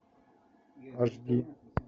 аш ди